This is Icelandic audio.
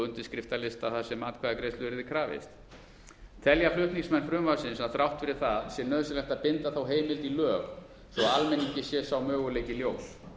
undirskriftalista þar sem atkvæðagreiðslu yrði krafist telja flutningsmenn frumvarpsins að þrátt fyrir það sé nauðsynlegt að binda þá heimild í lög svo að almenningi sé sá möguleiki ljós